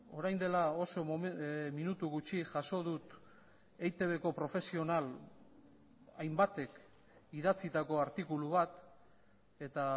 orain dela oso minutu gutxi jaso dut eitbko profesional hainbatek idatzitako artikulu bat eta